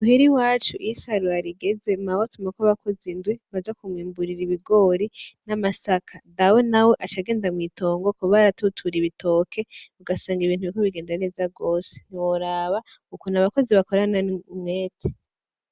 Muhira iwacu iyo isarura rigezemwo mawe atumako abakozi indwi baja kumwimburira ibigori n'amasaka dawe na we acagenda mw'itongo kuba aratutura ibitoke ugasanga ibintu biriko bigenda neza gose ntiworaba uko abakozi bakorana umwete.